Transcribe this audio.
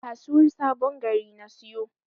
A kasuwar sabon Gari na siyo.